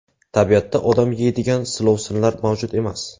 Tabiatda odam yeydigan silovsinlar mavjud emas.